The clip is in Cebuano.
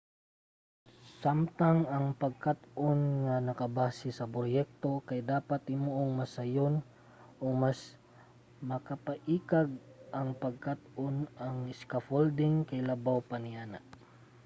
samtang ang pagkat-on nga nakabase sa proyekto kay dapat himuong mas sayon ug mas makapaikag ang pagkat-on ang scaffolding kay labaw pa niana